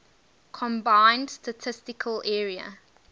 combined statistical area